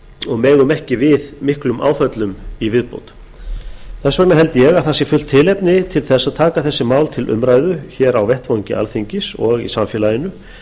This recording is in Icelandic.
og megum ekki við miklum áföllum í viðbót þess vegna held ég að það sé fullt tilefni að taka þessi mál til umræðu á vettvangi alþingis og í samfélaginu